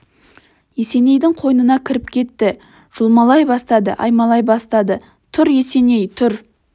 есенейдің қойнына кіріп кетті жұлмалай бастады аймалай бастады тұр есеней тұр